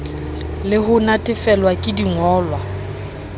le ho natefelwa ke dingolwa